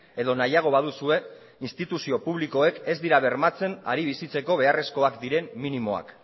edo nahiago baduzue instituzio publikoek ez dira bermatzen ari bizitzeko beharrezkoak diren minimoak